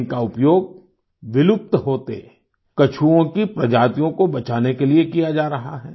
इनका उपयोग विलुप्त होते कछुओं की प्रजातियों को बचाने के लिए किया जा रहा है